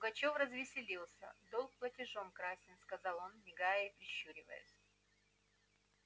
пугачёв развеселился долг платежом красен сказал он мигая и прищуриваясь